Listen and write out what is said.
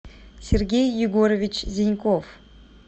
сергей егорович зеньков